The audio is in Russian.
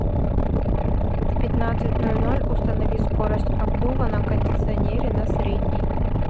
в пятнадцать ноль ноль установи скорость обдува на кондиционере на средний